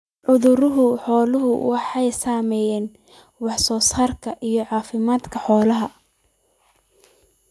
Cudurada xooluhu waxay saameeyaan wax soo saarka iyo caafimaadka xoolaha.